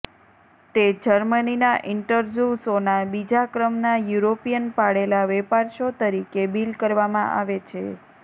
તે જર્મનીના ઇન્ટરઝૂ શોના બીજા ક્રમના યુરોપિયન પાળેલા વેપાર શો તરીકે બીલ કરવામાં આવે છે